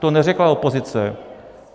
To neřekla opozice.